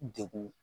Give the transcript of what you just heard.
Degun